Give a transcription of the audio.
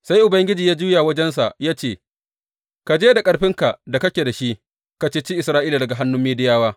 Sai Ubangiji ya juya wajensa ya ce, Ka je da ƙarfin da kake da shi ka ceci Isra’ila daga hannun Midiyawa.